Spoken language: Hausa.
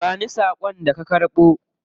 Ba ni sakon da ka karbo.